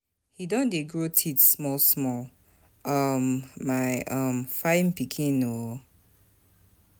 He don dey grow teeth small small, um my um fine pikin oo